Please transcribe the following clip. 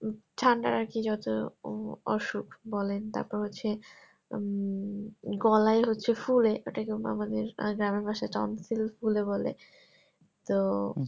ঠান্ডার আরকি যত উম অসুখ বলেন তারপর হচ্ছে উম গলায় হচ্ছে ফুলে টা কিন্তু আমাদের জানা ভাষায় tonsil ফুলে বলে তো